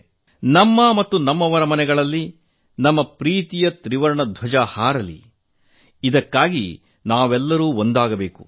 ನಮ್ಮ ಮತ್ತು ನಮ್ಮ ಪ್ರೀತಿಪಾತ್ರರ ಮನೆಗಳಲ್ಲಿ ನಮ್ಮ ಪ್ರೀತಿಯ ತ್ರಿವರ್ಣ ಧ್ವಜ ಹಾರಲಿ ಅದಕ್ಕಾಗಿ ನಾವೆಲ್ಲರೂ ಒಂದಾಗಬೇಕು